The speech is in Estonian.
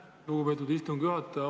Aitäh, lugupeetud istungi juhataja!